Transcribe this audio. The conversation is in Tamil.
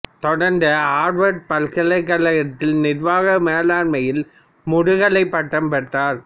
தொடர்ந்து ஆர்வர்டு பல்கலைக்கழகத்தில் நிர்வாக மேலாண்மையில் முதுகலைப் பட்டம் பெற்றார்